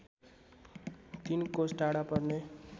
३ कोस टाढा पर्ने